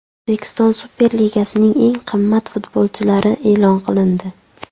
O‘zbekiston Superligasining eng qimmat futbolchilari e’lon qilindi.